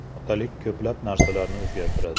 Otalik ko‘plab narsalarni o‘zgartiradi.